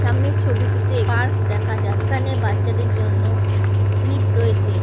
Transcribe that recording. সামনের ছবিটিতে পার্ক দেখা যাক-- এখানে বাচ্চাদের জন্য স্লিপ রয়েছে।